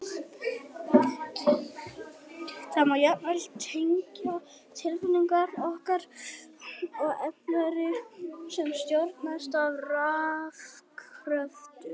Það má jafnvel tengja tilfinningar okkar við efnaferli sem stjórnast af rafkröftum!